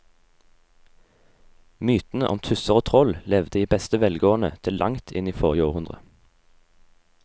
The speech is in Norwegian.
Mytene om tusser og troll levde i beste velgående til langt inn i forrige århundre.